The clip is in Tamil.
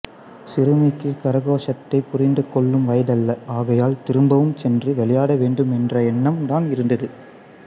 சிறுமிக்கு கரகோஷத்தைப் புரிந்து கொள்ளும் வயதல்ல ஆகையால் திரும்பவும் சென்று விளையாட வேண்டும் என்ற என்ணம் தான் இருந்தது